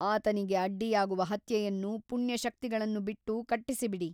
ಆತನಿಗೆ ಅಡ್ಡಿಯಾಗುವ ಹತ್ಯೆಯನ್ನು ಪುಣ್ಯಶಕ್ತಿಗಳನ್ನು ಬಿಟ್ಟು ಕಟ್ಟಿಸಿಬಿಡಿ.